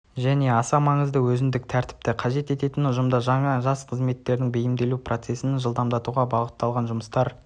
және аса маңызды өзіндік тәртіпті қажет ететін ұжымда жас қызметкерлердің бейімделу процессін жылдамдатуға бағытталған жұмыстар